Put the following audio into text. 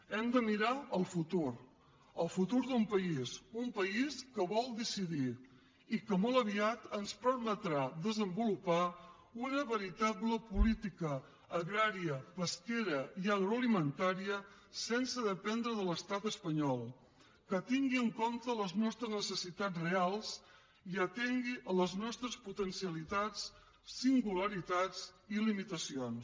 hem de mirar el futur el futur d’un país un país que vol decidir i que molt aviat ens permetrà desenvolupar una veritable política agrària pesquera i agroalimentària sense dependre de l’estat espanyol que tingui en compte les nostres necessitats reals i atengui les nostres potencialitats singularitats i limitacions